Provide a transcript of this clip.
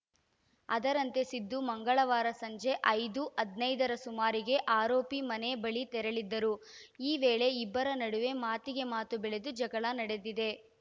ಅದರಂತೆ ಸಿದ್ದು ಮಂಗಳವಾರ ಸಂಜೆ ಐದು ಹದಿನೈದರ ಸುಮಾರಿಗೆ ಆರೋಪಿ ಮನೆ ಬಳಿ ತೆರಳಿದ್ದರು ಈ ವೇಳೆ ಇಬ್ಬರು ನಡುವೆ ಮಾತಿಗೆ ಮಾತು ಬೆಳೆದು ಜಗಳ ನಡೆದಿದೆ